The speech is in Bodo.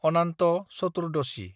अनान्त चतुर्दशी